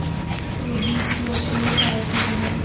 के बीच लोकप्रिय पार्टी बनाया